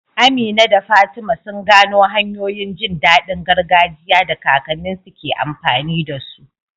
Amina da Fatima sun gano hanyoyin jin daɗin gargajiya da kakanninsu ke amfani da su.